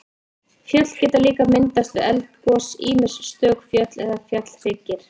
Fjöll geta líka myndast við eldgos, ýmist stök fjöll eða fjallhryggir.